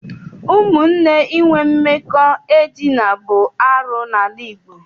Ụmụnne inwe mmekọ edina bụ arụ n'ala Igbo.